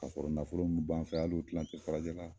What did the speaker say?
Ka kɔrɔ nafolo min b'an fɛ yan hali o kilan ti farajɛla.